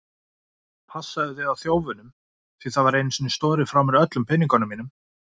Passaðu þig á þjófunum, því það var einu sinni stolið frá mér öllum peningnum mínum.